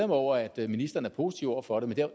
over at ministeren er positiv over for det men